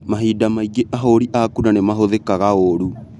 Mahinda mangĩ ahũri a kura nĩmahũthĩkaga ũru